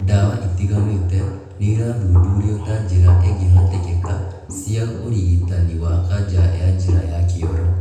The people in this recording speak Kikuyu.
Ndawa itiganĩte nĩirathuthurio ta njĩra ingĩhotekeka cia ũrigitani wa kanja ya njĩra ya kĩoro